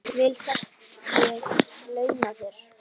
Vel skal ég launa þér.